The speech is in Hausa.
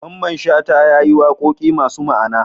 Mamman shata yayi waƙoƙi masu ma Ana